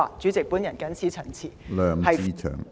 主席，我謹此陳辭。